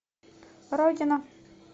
родина